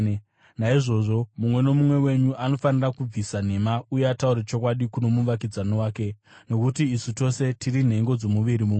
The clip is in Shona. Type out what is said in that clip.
Naizvozvo mumwe nomumwe wenyu anofanira kubvisa nhema uye ataure chokwadi kuno muvakidzani wake, nokuti isu tose tiri nhengo dzomuviri mumwe.